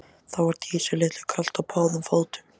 Þá var Dísu litlu kalt á báðum fótum.